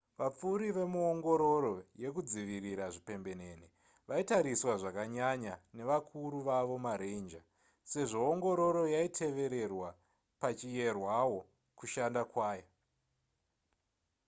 vapfuri vemuongororo yekudzivirira zvipembenene vaitariswa zvakanyanya nevakuru vavo maranger sezvo ongororo yaitevererwa pachiyerwawo kushanda kwayo